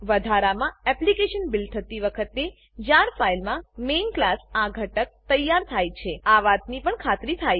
વધારામાં application build થતી વખતે જાર ફાઈલમાં મેઇન ક્લાસ આ ઘટક તૈયાર થાય છે આ વાતની પણ ખાતરી થાય છે